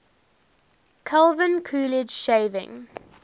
calvin coolidge shaving